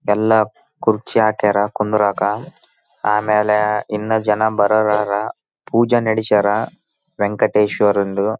ಆ ನೆಂಟಿಷ್ಟ್ರು ಹಾಗೆ ಊರು ಮನೆಯವರು ಬೇಕಾಗಿರುವವರು ಎಲ್ರುನು ಕರ್ದು ತುಂಬಾ --